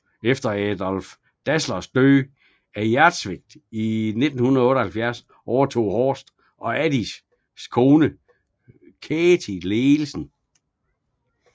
Efter Adolf Dasslers død af hjertesvigt i 1978 overtog Horst og Adis kone Käthe ledelsen